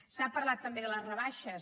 s’ha parlat també de les rebaixes